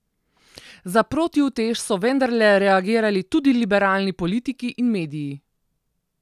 Za protiutež so vendarle reagirali tudi liberalni politiki in mediji.